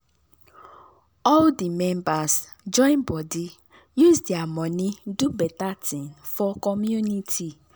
all di members join body use their money do better thing for community.